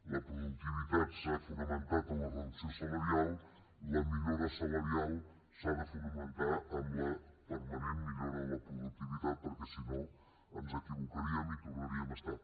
la productivitat s’ha fonamentat en la reducció salarial la millora salarial s’ha de fonamentar en la permanent millora de la productivitat perquè si no ens equivocaríem i tornaríem a estar